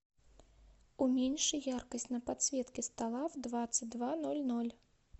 уменьши яркость на подсветке стола в двадцать два ноль ноль